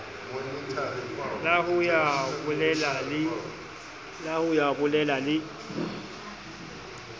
la ho ya beleha le